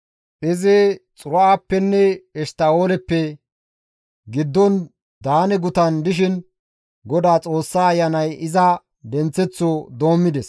Izi Xora7appenne Eshtta7ooleppe giddon Daane gutan dishin Godaa Xoossa Ayanay iza denththeththo doommides.